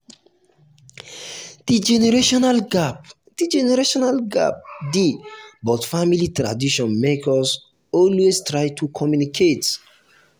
the generational gap the generational gap dey but family tradition make us always try to communicate.